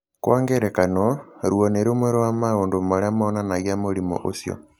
Kwa ngerekano, ruo nĩ rũmwe rwa maũndũ marĩa monanagia mũrimũ ũcio.